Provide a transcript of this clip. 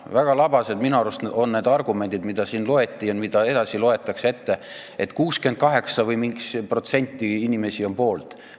Väga labased on minu arust need argumendid, mida siin ette loeti ja mida edasi ette loetakse, et 68% või mingi muu protsent inimesi on poolt.